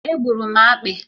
È gburu m akpị